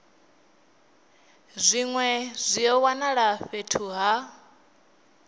zwine zwa wanala fhethu ha